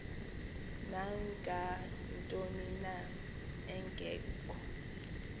nangantoni na engekho